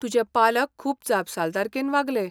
तुजे पालक खूब जापसालदारकेन वागले.